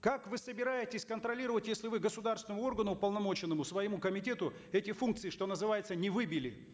как вы собираетесь контролировать если вы государственному органу уполномоченному своему комитету эти функции что называется не выбили